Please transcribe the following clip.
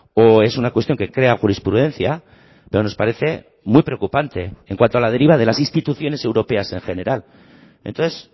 o es una cuestión que crea jurisprudencia pero nos parece muy preocupante en cuanto a la deriva de las instituciones europeas en general entonces